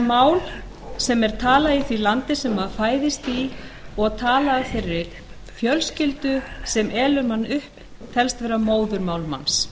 mál sem er talað í því landi sem maður fæðist í og er talað af þeirri fjölskyldu sem elur mann upp telst vera móðurmál manns